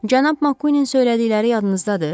Cənab Makuenin söylədikləri yadınızdadır?